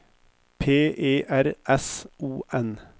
P E R S O N